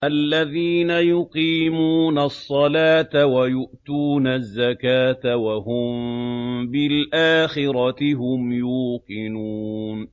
الَّذِينَ يُقِيمُونَ الصَّلَاةَ وَيُؤْتُونَ الزَّكَاةَ وَهُم بِالْآخِرَةِ هُمْ يُوقِنُونَ